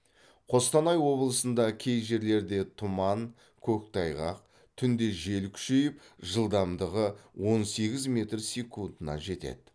қостанай облысында кей жерлерде тұман көктайғақ түнде жел күшейіп жылдамдығы он сегіз метр секундына жетеді